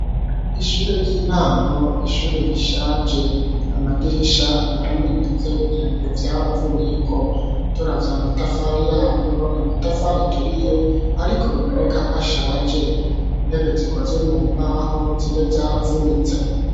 Ishure ry'intango, ishure rishaje. Amadirisha yaramenetse ibiyo vyaravuyeko. Turavye amatafari yayo ni amatafari aturiye, ariko biboneka ko ashaje. Intebe zikozwe mu mbaho zimwe zaravunitse.